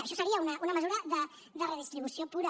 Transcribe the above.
això seria una mesura de redistribució pura